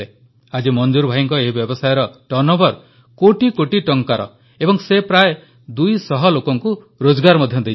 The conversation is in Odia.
ଆଜି ମଂଜୁର ଭାଇଙ୍କ ଏହି ବ୍ୟବସାୟର ଟର୍ଣ୍ଣଓଭର କୋଟିକୋଟି ଟଙ୍କାର ଏବଂ ସେ ପ୍ରାୟ ଦୁଇ ଶହ ଲୋକଙ୍କୁ ରୋଜଗାର ମଧ୍ୟ ଦେଇଛନ୍ତି